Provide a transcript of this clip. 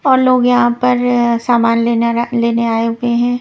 और लोग यहाँ पर अ सामान लेना लेने आए हुए हैं।